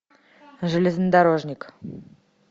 железнодорожник